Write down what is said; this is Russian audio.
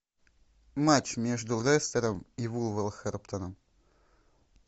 матч между лестером и вулверхэмптоном